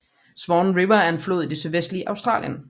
Swan River er en flod i det sydvestlige Australien